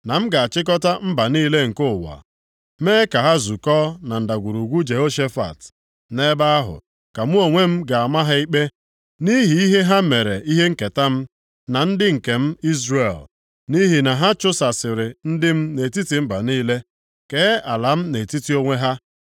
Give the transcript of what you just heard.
na m ga-achịkọta mba niile nke ụwa, mee ka ha zukọọ na Ndagwurugwu Jehoshafat. + 3:2 Ihe aha a pụtara bụ, \+nd onyenwe anyị\+nd* na-ekpe ikpe Nʼebe ahụ, ka mụ onwe m ga-ama ha ikpe, nʼihi ihe ha mere ihe nketa m, na ndị nke m Izrel. Nʼihi na ha chụsasịrị ndị m nʼetiti mba niile, kee ala m nʼetiti onwe ha.